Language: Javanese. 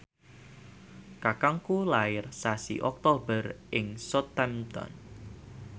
kakangku lair sasi Oktober ing Southampton